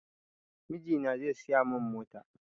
Mijina zai siya mun mota